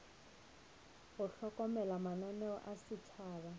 go hlokomela mananeo a setšhaba